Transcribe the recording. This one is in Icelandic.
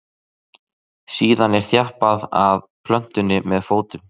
síðan er þjappað að plöntunni með fótum